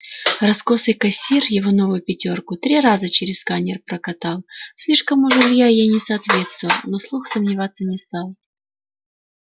раскосый кассир его новую пятёрку три раза через сканер прокатал слишком уж илья ей не соответствовал но вслух сомневаться не стал